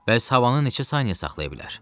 Bəs havanı neçə saniyə saxlaya bilər?